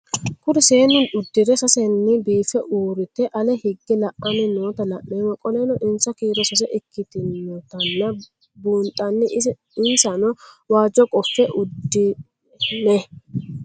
Kuri seenu udire sesena biife urite ale hige la'ani noota la'nemo qoleno insa kiiro sase ikinotana bunxana insano waajo qofe udune?